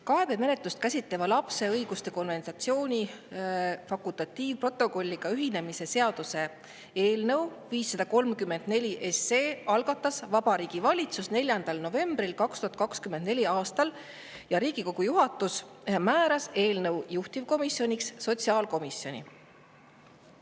Kaebemenetlust käsitleva lapse õiguste konventsiooni fakultatiivprotokolliga ühinemise seaduse eelnõu 534 algatas Vabariigi Valitsus 4. novembril 2024. aastal ja Riigikogu juhatus määras eelnõu juhtivkomisjoniks sotsiaalkomisjoni.